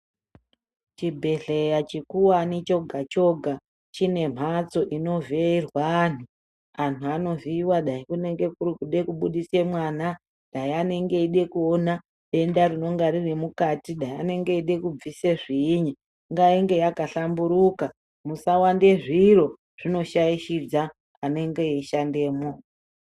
Chibhedhleya chikuvani choga-choga chine mhatso inovhiirwa antu. Antu anovhiva kuda kunenge kuri kuda kubudisa mwana, dai anenge eida kuona denda rinonga riri mukati, dai anenge echida kubvise zviinyi. Ngainge yakahlambiruka musawande zviro zvinoshaishidza anenge eishandemwo.